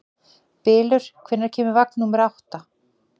Bylur, hvenær kemur vagn númer átta?